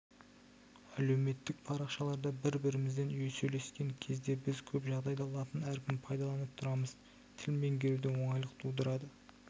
әлеуметтік парақшаларда бір-бірімізбен сөйлескен кезде біз көп жағдайда латын әрпін пайдаланып тұрамыз тіл меңгеруде оңайлық тудырады